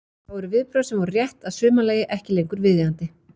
Þá eru viðbrögð sem voru rétt að sumarlagi ekki lengur viðeigandi.